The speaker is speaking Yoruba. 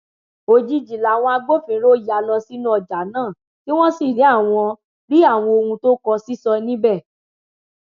òjijì làwọn agbófinró ya lọ sínú ọjà náà tí wọn sì rí àwọn rí àwọn ohun tó kó sísọ níbẹ